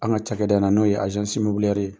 An ka ca da in na n'o ye ye.